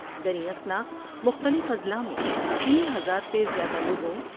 دریں اثنا مختلف اضلاع میں تین ہزار سے زیادہ لوگوں